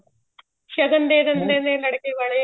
ਸ਼ਗਨ ਦੇ ਦਿੰਦੇ ਨੇ ਲੜਕੇ ਵਾਲੇ